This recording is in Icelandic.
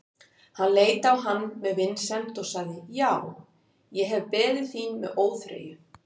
Hann leit á hann með vinsemd og sagði:-Já, ég hef beðið þín með óþreyju.